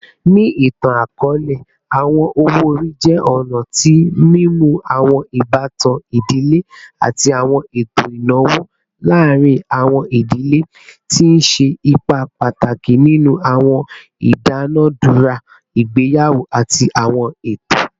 Ni itan-akọọlẹ, awọn owo-ori jẹ ọna ti mimu awọn ibatan idile ati awọn eto inawo laarin awọn idile, ti n ṣe ipa pataki ninu awọn idunadura igbeyawo ati awọn eto.